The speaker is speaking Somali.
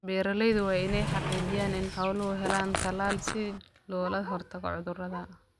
Beeraleydu waa inay xaqiijiyaan in xooluhu helaan talaal si looga hortago cudurrada.